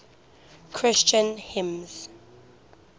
christian hymns